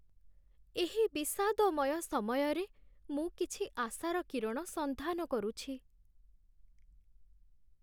ଏହି ବିଷାଦମୟ ସମୟରେ ମୁଁ କିଛି ଆଶାର କିରଣ ସନ୍ଧାନ କରୁଛି।